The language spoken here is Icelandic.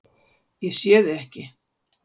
Ég sé þig ekki.